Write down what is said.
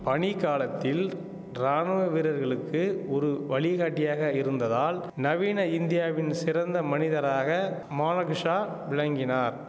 பணி காலத்தில் ராணுவ வீரர்களுக்கு ஒரு வழிகாட்டியாக இருந்ததால் நவீன இந்தியாவின் சிறந்த மனிதராக மானகிஷா விளங்கினார்